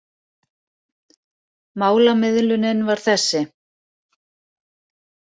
Málamiðlunin var þessi.